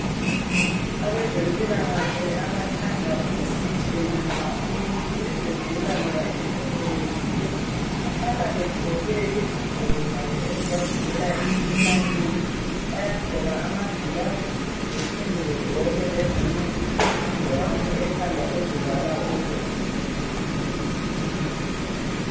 Abezempilakahle abathanda ukugujima nxa umuntu esegula loba esequlekile. Bahlala begqoke izigqoko zabo ezibavikelayo emkhuhlaneni bayagqoka amagilavisi bephinde bagqoke lezinye ingowane ekhanda ezivala ubuso .